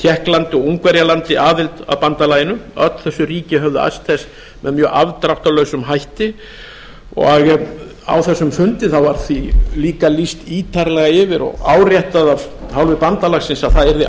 tékklandi og ungverjalandi aðild að bandalaginu öll þessi ríki höfðu æskt þess með mjög afdráttarlausum afdráttarlausum hætti á þessum fundi var því líka lýst ítarlega yfir og áréttað af hálfu bandalagsins að það